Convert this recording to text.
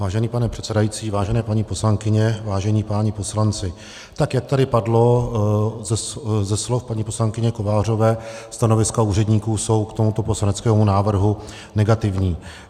Vážený pane předsedající, vážené paní poslankyně, vážení páni poslanci, tak jak tady padlo ze slov paní poslankyně Kovářové, stanoviska úředníků jsou k tomuto poslaneckému návrhu negativní.